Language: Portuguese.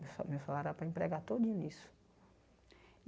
Meu sa meu salário era para empregar todinho nisso.